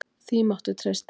Því máttu treysta.